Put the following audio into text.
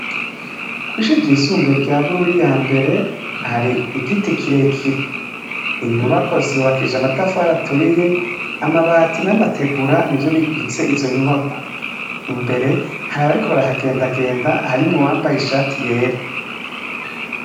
Kw'ishure ryisumbuye rya Bururi ya mbere hari igiti kirekire. Inyubakwa zubakishije amatafari aturiye. Amabati n'amategura nivyo bigize izo nyubakwa. Imbere hari abariko barahagendagenda harimwo uwambaye ishati yera.